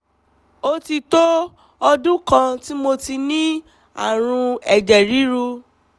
ó ti tó ọdún kan tí mo ti ní ààrùn ẹ̀jẹ̀ ríru